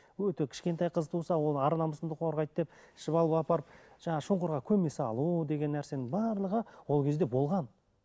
өте кішкентай қыз туса ол ар намысыңды қорғайды деп ішіп алып апарып жаңағы шұңқырға көме салу деген нәрсенің барлығы ол кезде болған